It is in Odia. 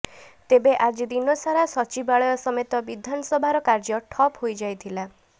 ତେବେ ଆଜି ଦିନସାରା ସଚିବାଳୟ ସମେତ ବିଧାନସଭାର କାର୍ଯ୍ୟ ଠପ୍ ହୋଇଯାଇଥିଲା